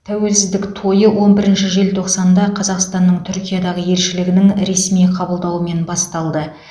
тәуелсіздік тойы он бірінші желтоқсанда қазақстанның түркиядағы елшілігінің ресми қабылдауымен басталды